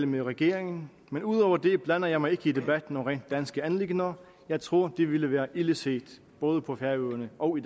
med regeringen men ud over det blander jeg mig ikke i debatten om rent danske anliggender jeg tror det ville være ilde set både på færøerne og